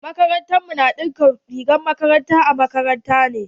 Makarantar mu na ɗinka rigar makaranta a makaranta ne.